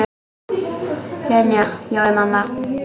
Linja, já ég man það.